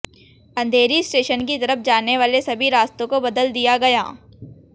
अंधेरी station की तरफ जाने वाले सभी रास्तों को बदल दिया गया